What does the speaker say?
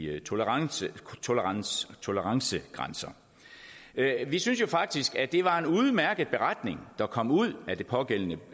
i tolerancegrænser tolerancegrænser vi synes faktisk at det var en udmærket beretning der kom ud af det pågældende